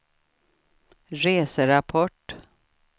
reserapport